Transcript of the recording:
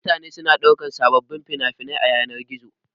Mutane suna ɗauko sababbin fina-finai a yanar-gizo.